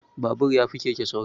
Babur ya fi keke sauri